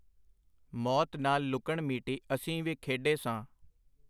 ਮੌਤ ਨਾਲ ਲੁਕਣਮੀਟੀ ਅਸੀਂ ਵੀ ਖੇਡੇ ਸਾਂ.